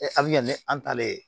a bɛ kɛ ni an talen ye